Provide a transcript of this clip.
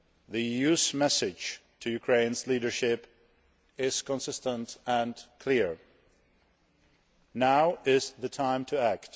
The EU's message to Ukraine's leadership is consistent and clear now is the time to act.